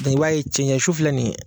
i b'a ye cɛɲɛsu filɛ nin ye